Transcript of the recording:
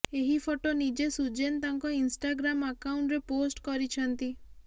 ଏହି ଫଟୋ ନିଜେ ସୁଜେନ ତାଙ୍କ ଇନ୍ଷ୍ଟାଗ୍ରାମ ଆକାଉଣ୍ଟରେ ପୋଷ୍ଟ କରିଛନ୍ତି